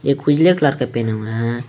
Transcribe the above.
एक उजले कलर का पहना हुआ है।